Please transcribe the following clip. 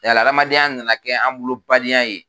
Yala hadamadenya na na kɛ an bolo badenya ye.